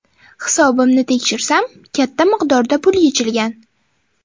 Hisobimni tekshirsam katta miqdorda pul yechilgan.